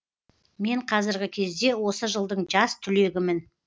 мен қазіргі кезде осы жылдың жас түлегімін